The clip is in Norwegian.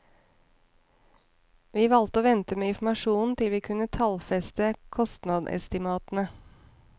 Vi valgte å vente med informasjon til vi kunne tallfeste kostnadsestimatene.